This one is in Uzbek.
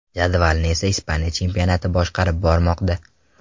Jadvalni esa Ispaniya chempionati boshqarib bormoqda.